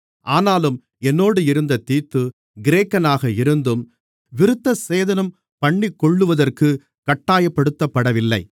ஆனாலும் என்னோடு இருந்த தீத்து கிரேக்கனாக இருந்தும் விருத்தசேதனம்பண்ணிக்கொள்ளுவதற்குக் கட்டாயப்படுத்தப்படவில்லை